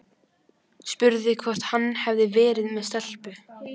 Spurði hvort hann hefði verið með stelpu.